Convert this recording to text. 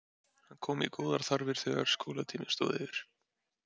Hann kom í góðar þarfir þegar skólatíminn stóð yfir.